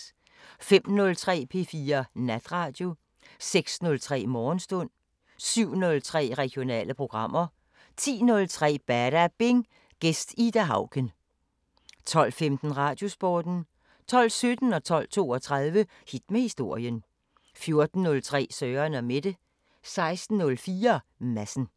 05:03: P4 Natradio 06:03: Morgenstund 07:03: Regionale programmer 10:03: Badabing: Gæst Ida Auken 12:15: Radiosporten 12:17: Hit med historien 12:32: Hit med historien 14:03: Søren & Mette 16:04: Madsen